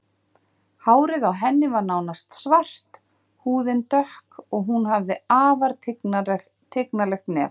Hárið á henni var nánast svart, húðin dökk og hún hafði afar tignarlegt nef.